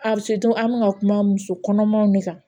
an bɛ ka kuma muso kɔnɔmaw de kan